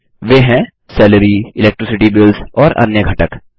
वे हैं salary electricity bills और अन्य घटक